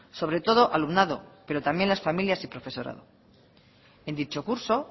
sobre todo alumnado pero también las familias y profesorado en dicho curso